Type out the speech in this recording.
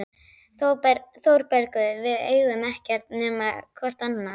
ÞÓRBERGUR: Við eigum ekkert nema hvort annað.